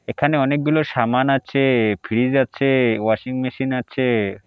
এখানে অনেকগুলো সামান আছে ফ্রিজ আছে ওয়াশিং মেশিন আছে।